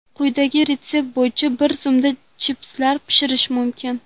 Quyidagi retsept bo‘yicha bir zumda chipslar pishirish mumkin.